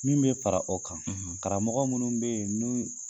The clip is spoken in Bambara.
Min bɛ fara o kan , karamɔgɔ minnu bɛ yen, n'u ye